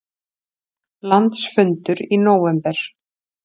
Landsfundur í nóvember